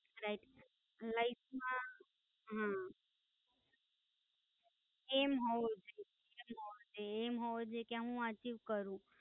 Right, Life માં, હા, એમ હોવો જોઈએ, હા એમ હોવો જોઈએ કે હું અર્ચીવ કરું છું.